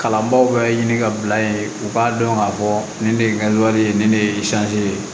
Kalanbaw bɛɛ ɲini ka bila yen u b'a dɔn k'a fɔ nin de ye ye nin de ye ye